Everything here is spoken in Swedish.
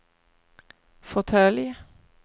fåtölj